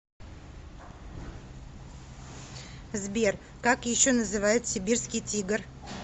сбер как еще называют сибирский тигр